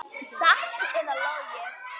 Satt eða logið.